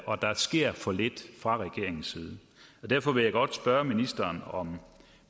og der sker for lidt fra regeringens side derfor vil jeg godt spørge ministeren om